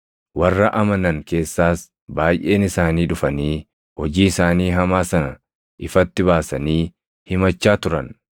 Warra amanan keessaas baayʼeen isaanii dhufanii hojii isaanii hamaa sana ifatti baasanii himachaa turan.